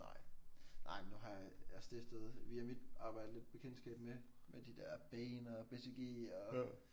Nej nej men nu har jeg jeg stiftede via mit arbejde lidt bekendtskab med med de der Bain BCG og